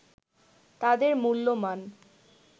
তাদের মূল্যমান